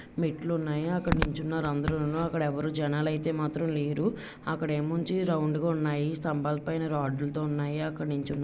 మెట్లు ఉన్నాయి అక్కడ నిలుచున్నారు అందరూను అక్కడ ఎవరు జనాలు అయితే మాత్రం లేరు. అక్కడ నుంచి రౌండ్ గా ఉన్నాయి స్తంభాల పైన రాడ్ లతో ఉన్నాయి. అక్కడ --నిల్చున్న.